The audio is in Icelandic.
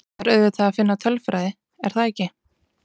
Það er auðvitað að finna tölfræði, er það ekki?